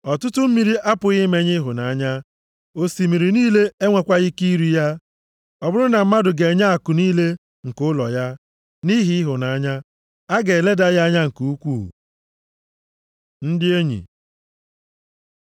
Ọtụtụ mmiri apụghị imenyụ ịhụnanya, osimiri niile enwekwaghị ike iri ya. Ọ bụrụ na mmadụ ga-enye akụ niile nke ụlọ ya nʼihi ịhụnanya, a ga-eleda ya anya nke ukwuu. Ndị Enyi